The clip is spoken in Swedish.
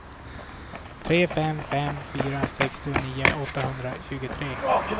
tre fem fem fyra sextionio åttahundratjugotre